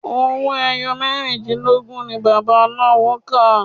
Owó ẹyọ mẹ́rìndínlógún ni bàbá aláwo kà.